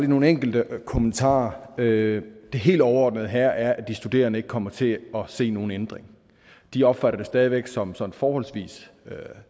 nogle enkelte kommentarer det helt overordnede her er at de studerende ikke kommer til at se nogen ændring de opfatter det stadig væk som sådan forholdsvis